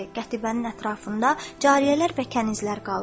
Qətibənin ətrafında cariyələr və kənizlər qaldı.